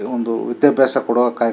ಇವು ಒಂದು ವಿದ್ಯಾಭ್ಯಾಸ ಕೊಡುವ ಕಾಯಕ--